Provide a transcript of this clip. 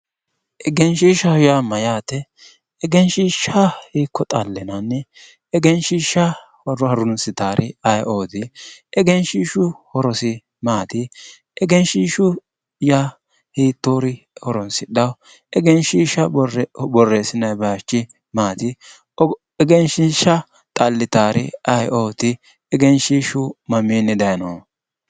egenshiishshaho yaa mayyate? egenshiishsha hiikko xallinanni egenshiishsha harunsitawori ayeeooti egenshiishshu horosi maati? egenshiishshu yaa hiittoori horoonsidhawo egenshiishsha borressinayi baychi maati egenshiishsha xallitawori ayeeooti egenshiishsu mamiinni dayno?